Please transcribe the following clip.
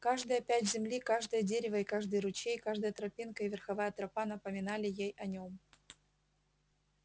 каждая пядь земли каждое дерево и каждый ручей каждая тропинка и верховая тропа напоминали ей о нем